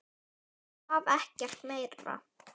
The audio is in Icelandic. Ég svaf ekkert meira.